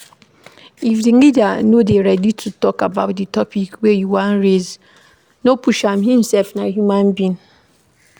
If di leader no dey ready to talk about di topic wey you dey raise, no push am im sef na human being